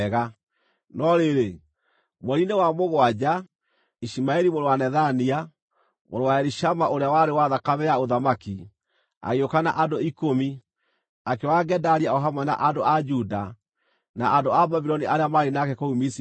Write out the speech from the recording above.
No rĩrĩ, mweri-inĩ wa mũgwanja, Ishumaeli mũrũ wa Nethania, mũrũ wa Elishama ũrĩa warĩ wa thakame ya ũthamaki, agĩũka na andũ ikũmi, akĩũraga Gedalia o hamwe na andũ a Juda, na andũ a Babuloni arĩa maarĩ nake kũu Mizipa.